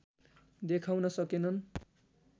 देखाउन सकेनन्